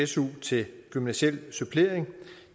su til gymnasial supplering